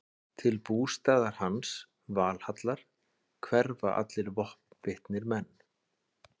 Til bústaðar hans, Valhallar, hverfa allir vopnbitnir menn.